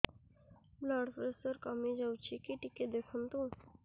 blood pressure କମି ଯାଉଛି କି ଟିକେ ଦେଖନ୍ତୁ